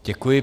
Děkuji.